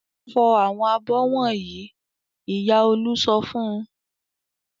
"Fọ àwọn abọ́ wọ̀nyí!" Ìyá Olú sọ fún un.